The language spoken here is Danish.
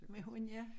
Men hund ja